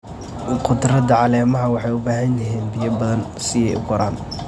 Khudradda caleemaha waxay u baahan yihiin biyo badan si ay u koraan.